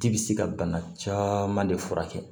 Ji bi se ka bana caman de furakɛ